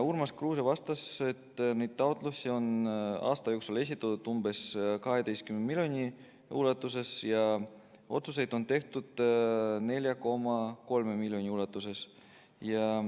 Urmas Kruuse vastas, et taotlusi on aasta jooksul esitatud umbes 12 miljoni euro ulatuses ja otsuseid on tehtud 4,3 miljoni euro ulatuses.